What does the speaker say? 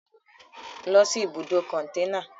lọ́ si ibùdó kọ̀ntẹ́nà!